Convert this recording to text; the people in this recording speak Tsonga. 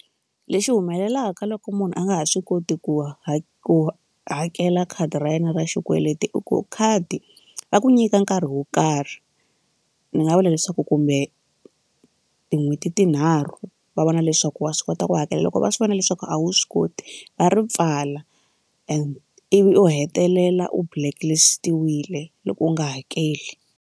Lexi humelelaka loko munhu a nga ha swi koti ku ha ku hakela khadi ra yena ra xikweleti i ku khadi ra ku nyika nkarhi wo karhi ni nga vula leswaku kumbe tin'hweti tinharhu va vona leswaku wa swi kota ku hakela loko va swi vona leswaku a wu swi koti va ri pfala and ivi u hetelela u blacklist-iwile loko u nga hakeli.